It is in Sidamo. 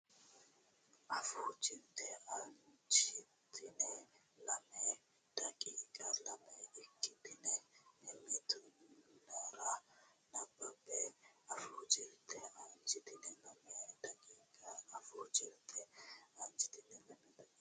Afuu Jirte aanchitine lame daqiiqa lame ikkitine mimmiti nera nabbabbe Afuu Jirte aanchitine lame daqiiqa Afuu Jirte aanchitine lame daqiiqa.